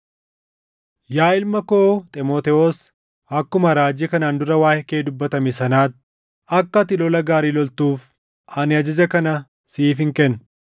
Yaa ilma koo Xiimotewos, akkuma raajii kanaan dura waaʼee kee dubbatame sanaatti, akka ati lola gaarii loltuuf ani ajaja kana siifin kenna;